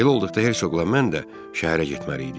Belə olduqda hersoqla mən də şəhərə getməliydik.